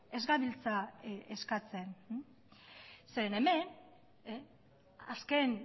ez gabiltza eskatzen zeren hemen azken